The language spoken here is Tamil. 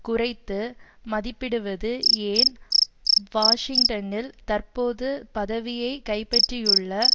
குறைத்து மதிப்பிடுவது ஏன் வாஷிங்டனில் தற்போது பதவியை கைப்பட்டியுள்ள